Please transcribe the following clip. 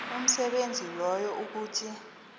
umsebenzi loyo ukuthi